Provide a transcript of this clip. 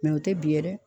o tɛ bi yɛrɛ